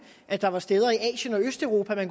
at der var steder i asien og østeuropa